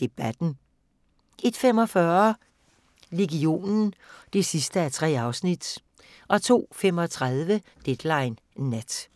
Debatten * 01:45: Legionen (3:3) 02:35: Deadline Nat